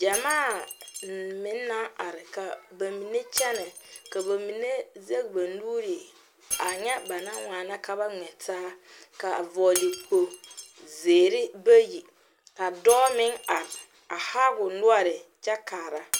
Gyɛmaa meŋ naŋ are ka ba mine kyɛnɛ ka ba mine zage ba nuure a ŋa ba naŋ waana ka ba ŋmɛ taa ka vɔgle kpog zeere bayi ka dɔɔ meŋ are a haa o noɔre kyɛ kaara.